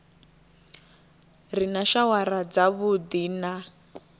re na shawara dzavhuddi na